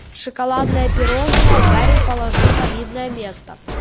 шоколадное пирожные гарри положил на видное место